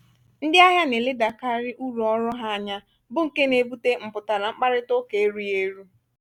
ndị ahịa na-eledakarị uru ọrụ ha anya bụ nke na-ebute mpụtara mkparịta ụka erughi eru